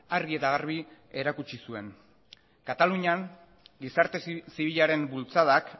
argi eta garbi erakutsi zuen katalunian gizarte zibilaren bultzadak